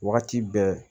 Wagati bɛɛ